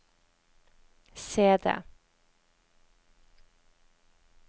CD